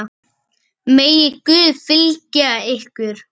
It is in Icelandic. Sumar stúlkur eru þannig líka.